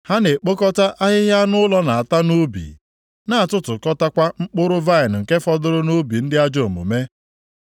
Ha na-ekpokọta ahịhịa anụ ụlọ na-ata nʼubi, na-atụtụkọtakwa mkpụrụ vaịnị nke fọdụrụ nʼubi ndị ajọ omume.